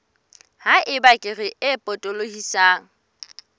ha eba kere e potolohisang